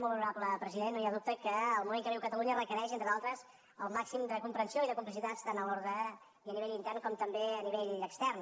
molt honorable president no hi ha dubte que el moment que viu catalunya requereix entre d’altres el màxim de comprensió i de complicitats tant en l’ordre i a nivell intern com també a nivell extern